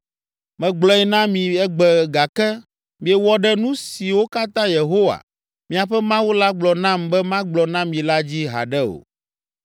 Megblɔe na mi egbe gake miewɔ ɖe nu siwo katã Yehowa, miaƒe Mawu la gblɔ nam be magblɔ na mi la dzi haɖe o.